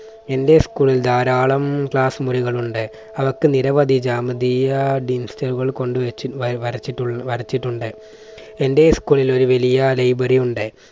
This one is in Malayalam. എൻറെ school ൽ ധാരാളം class മുറികൾ ഉണ്ട്. അവിടൊക്കെ നിരവധി ജാതീയ കൊണ്ടുവച്ച് വര~വരച്ചിട്ടുണ്ട്. എൻറെ school ൽ ഒരു വലിയ library ഉണ്ട്.